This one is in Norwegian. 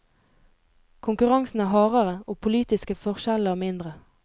Konkurransen er hardere og politiske forskjeller mindre.